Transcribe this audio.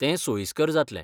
तें सोयिस्कर जातलें.